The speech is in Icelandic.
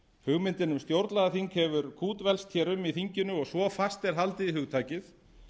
hugmyndin um stjórnlagaþing hefur kútvelst hér í þinginu og svo fast er haldið í hugtakið